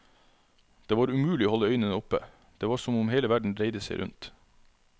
Det var umulig å holde øynene oppe, det var som om hele verden dreide seg rundt.